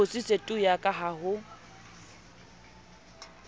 kgutsitse tu yaka ha ho